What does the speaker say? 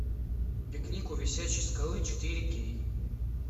пикник у висячей скалы четыре кей